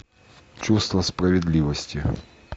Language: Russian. чувство справедливости